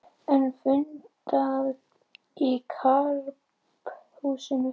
Enn fundað í Karphúsinu